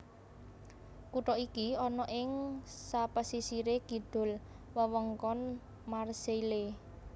Kutha iki ana ing sapesisire kidul wewengkon Marseille